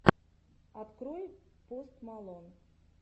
открой пост малон